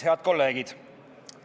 Head kolleegid!